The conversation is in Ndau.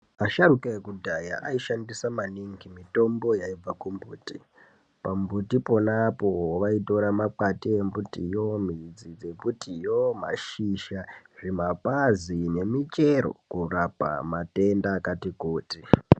Asharuka ekudhaya aishandisa maningi mitombo yaibva kumbuti. Pambuti pona apo vaitora makwati embutiyo, midzi dzembutiyo, mashizha, zvimapazi nemichero korapa matenda akati kuti.